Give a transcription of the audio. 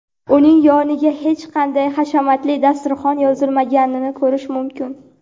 uning yoniga hech qanday hashamatli dasturxon yozilmaganini ko‘rish mumkin.